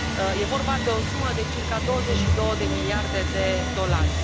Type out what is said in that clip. E vorba de o sumă de circa 22 de miliarde de dolari.